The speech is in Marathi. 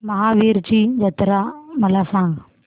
महावीरजी जत्रा मला सांग